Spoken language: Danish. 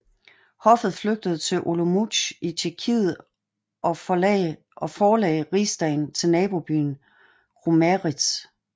Hoffet flygtede til Olomouc i Tjekkiet og forlagde Rigsdagen til nabobyen Kromeríž